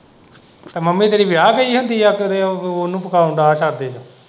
ਤੇ ਮੰਮੀ ਤੇਰੀ ਵਿਆਹ ਗਈ ਹੁੰਦੀ ਏ ਫੇਰ ਉਹਨੂੰ ਪਕਾਉਣ ਨੂੰ ਅਗਾਂਹ ਕਰਦੇ।